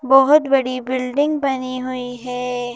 बहोत बड़ी बिल्डिंग बनी हुई है।